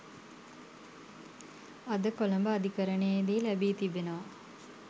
අද කොළඹ අධිකරණයේදී ලැබී තිබෙනවා